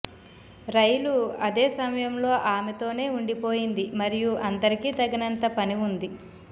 రైలు అదే సమయంలో ఆమెతోనే ఉండిపోయింది మరియు అందరికీ తగినంత పని ఉంది